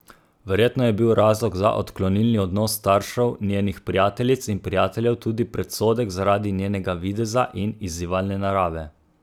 Verjetno je bil razlog za odklonilni odnos staršev njenih prijateljic in prijateljev tudi predsodek zaradi njenega videza in izzivalne narave.